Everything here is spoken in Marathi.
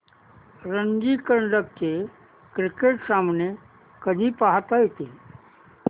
रणजी करंडक चे क्रिकेट सामने कधी पाहता येतील